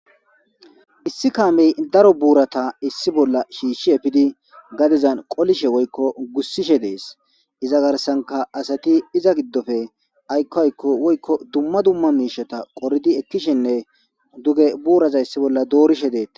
Issi kaame daro buurata issi bolla shiishi efidi gadezan qolishe woyko gussishe de'es, iza garsanka asati iza gidope ayko ayko woyko duma duma miishata qoridi ekishene duge buuraza issi bolla doorishe deetes.